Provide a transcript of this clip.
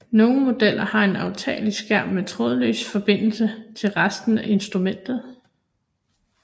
Nogle modeller har en aftagelig skærm med trådløs forbindelse til resten af instrumentet